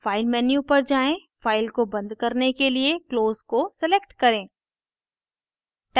file menu पर जाएँ file को बंद करने के लिए close को select करें